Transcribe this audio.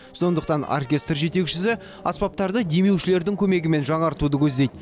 сондықтан оркестр жетекшісі аспаптарды демеушілердің көмегімен жаңартуды көздейді